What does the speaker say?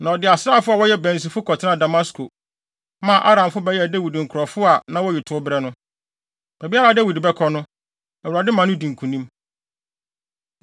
Na ɔde asraafo a wɔyɛ bansifo kɔtenaa Damasko, maa Aramfo bɛyɛɛ Dawid nkurɔfo a na woyi tow brɛ no. Baabiara a Dawid bɛkɔ no, Awurade ma no di nkonim.